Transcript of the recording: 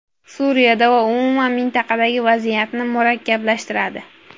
Suriyada va umuman mintaqadagi vaziyatni murakkablashtiradi.